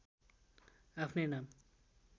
आफ्नै नाम